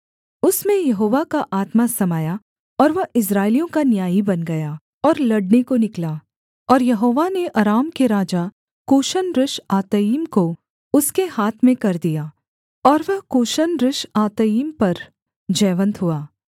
उसमें यहोवा का आत्मा समाया और वह इस्राएलियों का न्यायी बन गया और लड़ने को निकला और यहोवा ने अराम के राजा कूशन रिश्आतइम को उसके हाथ में कर दिया और वह कूशन रिश्आतइम पर जयवन्त हुआ